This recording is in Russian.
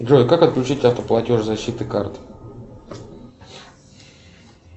джой как отключить автоплатеж защиты карты